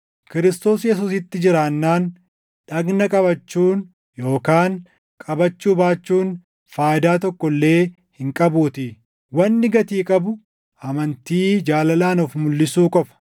Kiristoos Yesuusitti jiraannaan dhagna qabachuun yookaan qabachuu baachuun faayidaa tokko illee hin qabuutii. Wanni gatii qabu amantii jaalalaan of mulʼisu qofa.